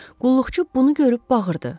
Qulluqçu bunu görüb bağırdı.